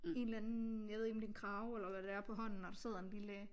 En eller anden jeg ved ikke om det er en krage eller hvad det er på hånden og der sidder en lille